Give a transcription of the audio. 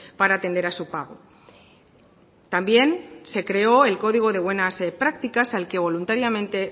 para atender a su pago también se creó el código de buenas prácticas al que voluntariamente